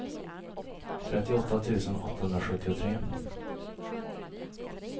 trettioåtta tusen åttahundrasjuttiotre